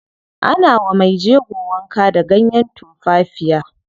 Ana wa mejego wanka da ganyen tumfafiya.